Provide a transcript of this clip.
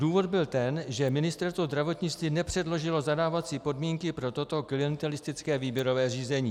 Důvod byl ten, že Ministerstvo zdravotnictví nepředložilo zadávací podmínky pro toto klientelistické výběrové řízení.